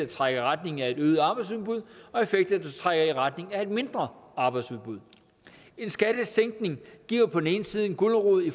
trækker i retning af et øget arbejdsudbud og effekter der trækker i retning af et mindre arbejdsudbud en skattesænkning giver på den ene side en gulerod i